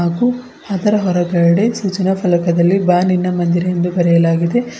ಹಾಗು ಅದರ ಹೊರಗಡೆ ಸೂಚನಾ ಫಲಕದಲ್ಲಿ ಬಾನಿನ ಮಂದಿರ ಎಂದು ಬರೆಯಲಾಗಿದೆ.